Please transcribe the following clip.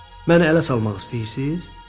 Məni ələ salmaq istəyirsiz?